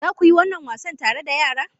Za ku yi wannan wasan tare da yara?